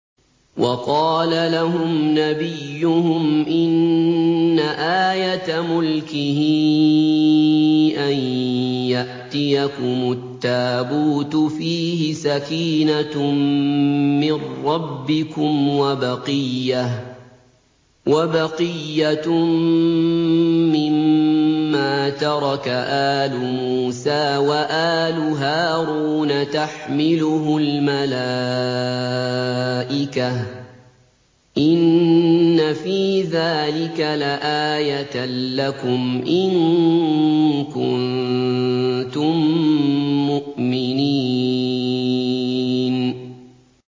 وَقَالَ لَهُمْ نَبِيُّهُمْ إِنَّ آيَةَ مُلْكِهِ أَن يَأْتِيَكُمُ التَّابُوتُ فِيهِ سَكِينَةٌ مِّن رَّبِّكُمْ وَبَقِيَّةٌ مِّمَّا تَرَكَ آلُ مُوسَىٰ وَآلُ هَارُونَ تَحْمِلُهُ الْمَلَائِكَةُ ۚ إِنَّ فِي ذَٰلِكَ لَآيَةً لَّكُمْ إِن كُنتُم مُّؤْمِنِينَ